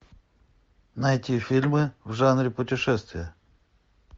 найти фильмы в жанре путешествия